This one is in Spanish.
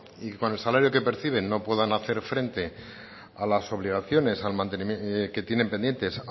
y que con el salario que perciben no puedan hacer frente a las obligaciones que tienen pendientes